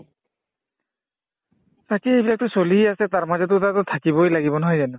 তাকেই এইবিলাকতো চলিয়ে আছে তাৰমাজতো এটাতো থাকিবই লাগিব নহয় জানো